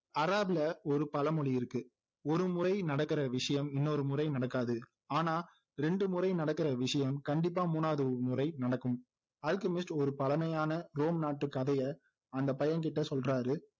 அராப்ல ஒரு பழமொழி இருக்கு ஒருமுறை நடக்குற விஷயம் இன்னொரு முறை நடக்காது ஆனா ரெண்டு முறை நடக்குற விஷயம் கண்டிப்பா மூணாவது முறை நடக்கும் அல்கெமிஸ்ட் ஒரு பழமையான ரோம் நாட்டு கதையை அந்த பையன்கிட்ட சொல்றாரு